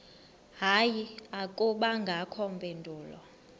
hayi akubangakho mpendulo